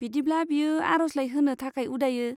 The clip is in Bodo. बिदिब्ला, बियो आरजलाइ होनो थाखाय उदायो।